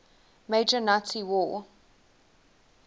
major nazi war